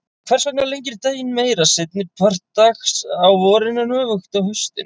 Hvers vegna lengir daginn meira seinni part dags á vorin en öfugt á haustin?